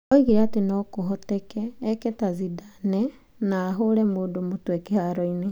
Oigire atĩ no kũhoteke eke ta Zidane na ahũre mũndũ mũtwe kĩharo-inĩ.